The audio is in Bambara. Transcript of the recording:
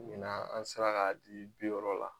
Ɲina an sera k'a di bi yɔrɔ la.